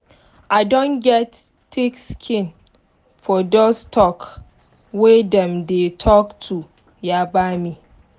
i don get thick skin for dos talk wey dem dey talk to yaba me